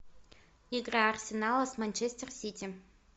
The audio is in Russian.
игра арсенала с манчестер сити